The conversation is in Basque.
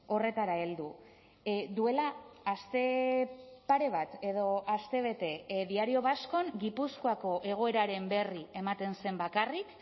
horretara heldu duela aste pare bat edo astebete diario vascon gipuzkoako egoeraren berri ematen zen bakarrik